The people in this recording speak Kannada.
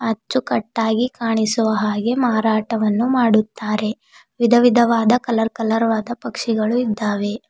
ಹಚ್ಚುಕಟ್ಟಾಗಿ ಕಾಣಿಸುವ ಹಾಗೆ ಮಾರಾಟವನ್ನು ಮಾಡುತ್ತಾರೆ ವಿಧವಿಧವಾದ ಕಲರ್ ಕಲರ್ ವಾದ ಪಕ್ಷಿಗಳು ಇದ್ದಾವೆ.